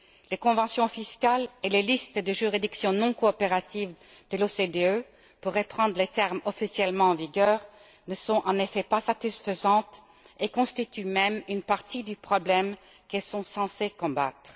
Les conventions fiscales et les listes de juridictions non coopératives de l'OCDE, pour reprendre les termes officiellement en vigueur, ne sont en effet pas satisfaisantes et constituent même une partie du problème qu'elles sont censées combattre.